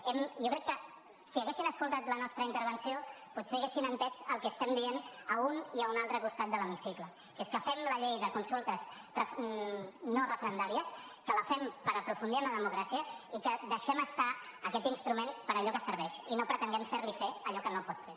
jo crec que si haguessin escoltat la nostra intervenció potser haurien entès el que estem dient a un i a un altre costat de l’hemicicle que és que fem la llei de consultes no referendàries que la fem per aprofundir en la democràcia i que deixem estar aquest instrument per a allò que serveix i no pretenguem fer li fer allò que no pot fer